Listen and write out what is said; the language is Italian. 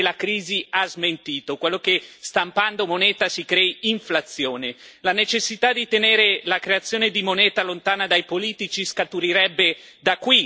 La necessità di tenere la creazione di moneta lontana dai politici scaturirebbe da qui, dalla necessità di evitare quell'inflazione che ora invece tutti auspicano.